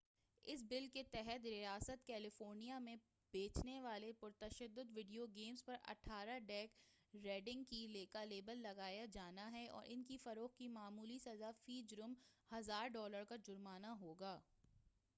اس بل کے تحت ریاست کیلیفورنیا میں بیچنے والے پرتشدد ویڈیو گیمز پر 18 ڈیک ریڈنگ کا لیبل لگایا جانا ہے اور ان کی فروخت کی معمولی سزا فی جرم $ 1000 کا جرمانہ ہوگا۔